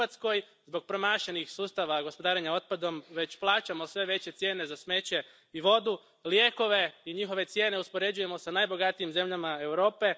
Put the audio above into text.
U Hrvatskoj zbog promašenih sustava gospodarenja otpadom već plaćamo sve veće cijene za smeće i vodu, lijekove i njihove cijene uspoređujemo s najbogatijim zemljama Europe.